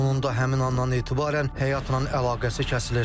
Onun da həmin anan etibarən həyatla əlaqəsi kəsilir.